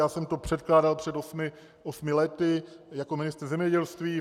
Já jsem to předkládal před osmi lety jako ministr zemědělství.